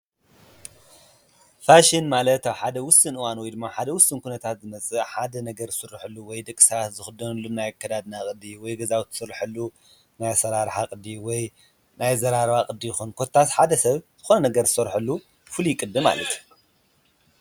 ፋሽን ማለት ኣብ ሓደ ዉሱን እዋን ወይ ድማ ኣብ ሓደ ዉሱን ኩነታት ዝመጽእ ሓደ ነገር ዝስረሓሉ ወይ ድማ ደቂሰባት ዝክደንሉ ናይ ኣከዳድና ቅዲ ወይ ገዛዉቲ ዝስረሓሉ ናይ ኣሰራርሓ ቅዲ ናይ ኣዘራርባ ቅዲ ኮታስ ሓደ ሰብ ዝኮነ ነገር ዝሰርሓሉ ፍሉይ ቅዲ ማለት እዩ::